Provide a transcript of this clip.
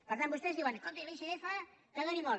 per tant vostès diuen escolti l’icf que doni molt